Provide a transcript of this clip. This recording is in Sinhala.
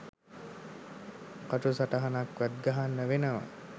කටු සටහනක්වත් ගහන්න වෙනවා